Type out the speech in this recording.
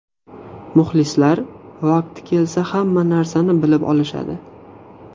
Muxlislar vaqti kelsa hamma narsani bilib olishadi.